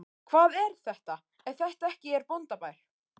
Hvað er þetta ef þetta ekki er bóndabær?